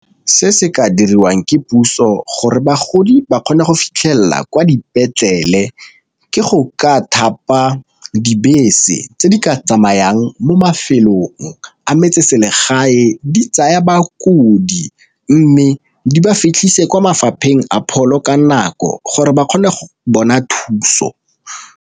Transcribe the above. Se se ka diriwang ke puso gore bagodi ba kgone go fitlhelela kwa dipetlele ke go ka thapa dibese tse di ka tsamayang mo mafelong a metseselegae di tsaya bakodi, mme di ba fitlhisa kwa mafapheng a pholo ka nako gore ba kgone go bona thuso.